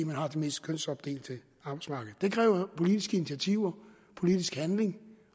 man har det mest kønsopdelte arbejdsmarked det kræver politisk initiativer politisk handling